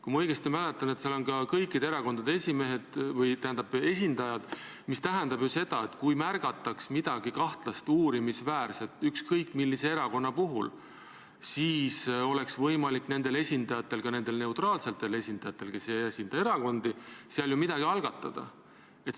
Kui ma õigesti mäletan, siis seal on ka kõikide erakondade esindajad, mis tähendab seda, et kui märgataks midagi kahtlast, uurimisväärset ükskõik millise erakonna puhul, siis oleks võimalik nendel esindajatel, ka nendel neutraalsetel esindajatel, kes ei esinda erakondi, seal ju midagi algatada.